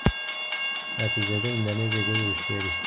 Natijada Indoneziya gol urishga erishdi.